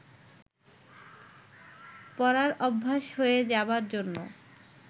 পরার অভ্যেস হয়ে যাবার জন্য